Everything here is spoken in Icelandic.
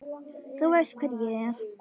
Þú veist hver ég er.